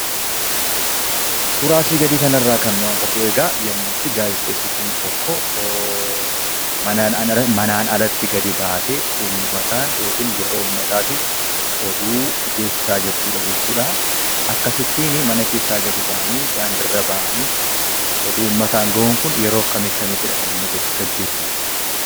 Suuraa asii gadii kanarraa kan nu agarru yemmuu gaazexessituun tokko manaa alatti gadi baatee, ummataaf yookaan gurra ummataatif oduu geessisaa jirtudha jechuudha. Akkasittiin mana keessaa gadi daandiirra ba'anii oduu ummataan ga'uun kun yeroo akkamii akkamiidha kan innigaggeeffamu?